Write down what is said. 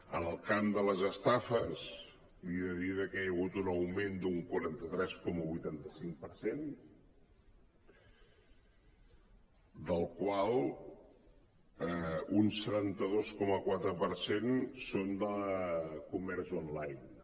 en el camp de les estafes li he de dir que hi ha hagut un augment d’un quaranta tres coma vuitanta cinc per cent del qual un setanta dos coma quatre per cent són de comerç online